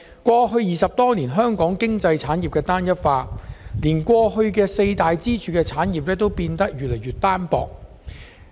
過去20多年，香港經濟產業單一化，連固有的四大支柱產業也變得越來越單薄。